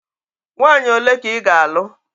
Nwaanyị ole ka ị ga-alụ?